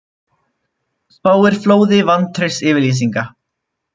Spáir flóði vantraustsyfirlýsinga